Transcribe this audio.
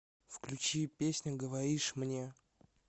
включи песня говоришь мне